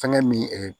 Fɛnkɛ min